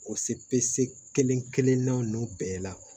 O se kelen kelen na nunnu bɛɛ la